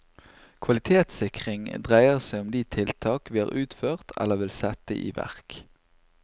Kvalitetssikring dreier seg om de tiltak vi har utført eller vil sette i verk.